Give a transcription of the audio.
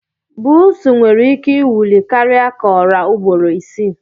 Pusi can nwere ike iwuli karia ka ọra ugboro isi.